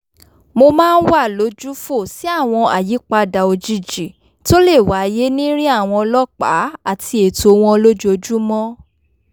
mo máa ń wà lójúfò sí àwọn àyípadà òjijì tó lè wáyé nírìn àwọn ọlọ́pàá àti ètò wọn lójoojúmọ́